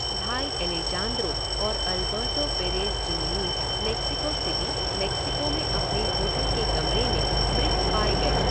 भाई एलेजांद्रो और Alberto Perez Jimenez Mexico City, Mexico में अपने होटल के कमरे में मृत पाए गए।